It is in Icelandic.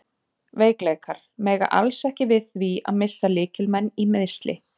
Veikleikar: Mega alls ekki við því að missa lykilmenn í meiðsli.